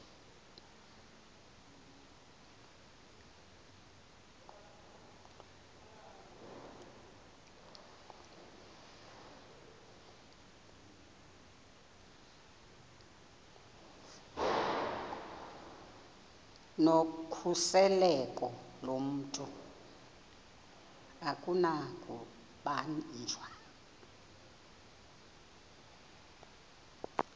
nokhuseleko lomntu akunakubanjwa